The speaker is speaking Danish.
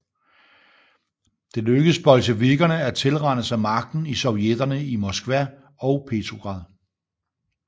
Det lykkedes bolsjevikkerne at tilrane sig magten i sovjetterne i Moskva og Petrograd